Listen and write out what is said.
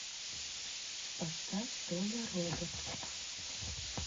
поставь толя робот